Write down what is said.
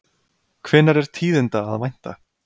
Hvenær er tíðinda að vænta?